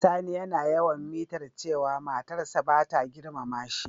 Sani yana yawan mitar cewa matar sa bata girmama shi.